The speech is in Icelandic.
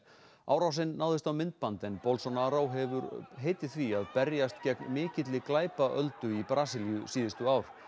árásin náðist á myndband en Bolsonaro hefur heitið því að berjast gegn mikilli í Brasilíu síðustu ár